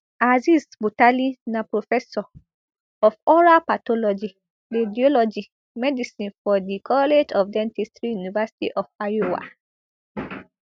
azeez butali na professor of oral pathology radiology medicine for di college of dentistry university of iowa